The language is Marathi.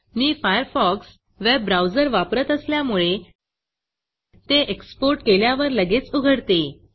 मी Firefoxफायरफॉक्स वेब ब्राउजर वापरत असल्यामुळे ते exportएक्सपोर्ट केल्यावर लगेच उघडते